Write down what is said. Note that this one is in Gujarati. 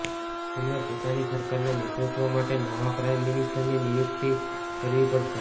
તેમણે પોતાની સરકારના નેતૃત્વ માટે નવા પ્રાઇમ મિનિસ્ટરની નિયુક્તિ કરવી પડશે